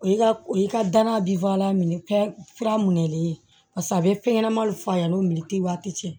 O ye o ka danaya bi minɛli ye paseke a be fɛn ɲɛnamaw f'a ɲɛna o minɛ te waati cɛ